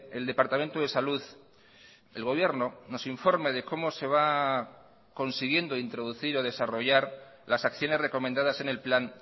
el departamento de salud el gobierno nos informe de cómo se va consiguiendo introducir o desarrollar las acciones recomendadas en el plan